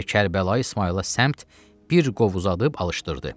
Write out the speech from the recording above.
Və Kərbəlayı İsmayıla səmt bir qov uzadıb alışdırdı.